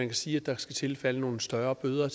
kan sige at der skal tilfalde nogle større bøder